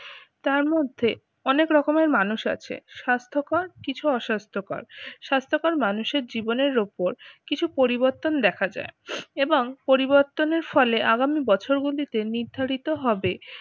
তার মধ্যে অনেক রকমের মানুষ আছে স্বাস্থ্যকর কিছু অস্বাস্থ্যকর। স্বাস্থ্যকর মানুষের জীবনে উপর কিছু পরিবর্তন দেখা যায় এবং পরিবর্তনের ফলে আগামী বছরগুলিতে নির্ধারিত হবে